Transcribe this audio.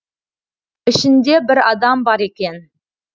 ішінде бір адам бар екен